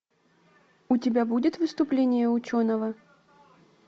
у тебя будет выступление ученого